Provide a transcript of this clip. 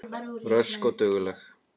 Rösk og dugleg.